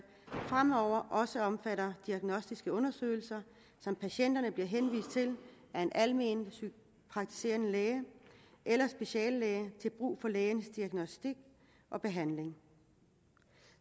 fremover også omfatter diagnostiske undersøgelser som patienterne bliver henvist til af en alment praktiserende læge eller speciallæge til brug for lægens diagnostik og behandling